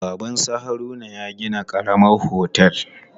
Baban su Haruna ya gina karamar otel.